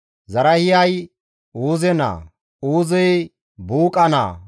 Zarahiyay Uuze naa, Uuzey Buuqa naa,